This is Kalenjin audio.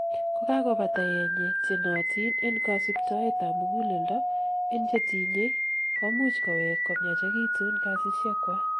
kokakobata yenyet, chenootin en kosibtoet ab muguleldo en chetinyei komuch kowek komiachekitun kasisiekwak